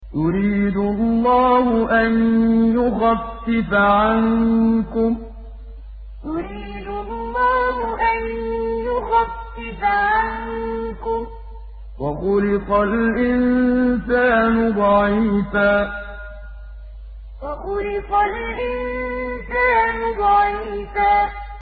يُرِيدُ اللَّهُ أَن يُخَفِّفَ عَنكُمْ ۚ وَخُلِقَ الْإِنسَانُ ضَعِيفًا يُرِيدُ اللَّهُ أَن يُخَفِّفَ عَنكُمْ ۚ وَخُلِقَ الْإِنسَانُ ضَعِيفًا